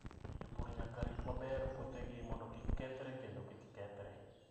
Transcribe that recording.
Jopur nyaka rit maber puothegi mondo kik kethre kendo kik kethre.